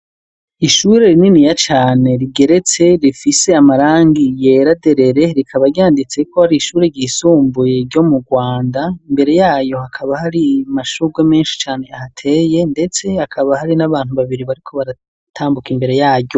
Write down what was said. Ishure rininiya cane rigeretse rifise amarangi yera derere rikaba ryanditse ko ari ishuri ry'isumbuye ryo mu Rwanda imbere yayo hakaba hari amashurwe menshi cane ahateye ndetse hakaba hari n'abantu babiri bariko baratambuka imbere yaryo.